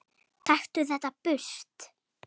Taktu þetta burt!